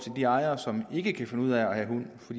de ejere som ikke kan finde ud af at have hund for